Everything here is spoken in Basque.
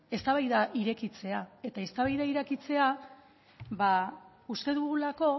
eztabaida irekitzea uste dugulako